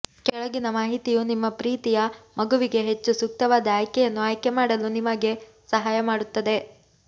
ಕೆಳಗಿನ ಮಾಹಿತಿಯು ನಿಮ್ಮ ಪ್ರೀತಿಯ ಮಗುವಿಗೆ ಹೆಚ್ಚು ಸೂಕ್ತವಾದ ಆಯ್ಕೆಯನ್ನು ಆಯ್ಕೆ ಮಾಡಲು ನಿಮಗೆ ಸಹಾಯ ಮಾಡುತ್ತದೆ